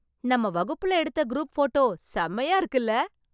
நம்ம வகுப்புல எடுத்த குரூப் ஃபோட்டோ செமையா இருக்குல்ல...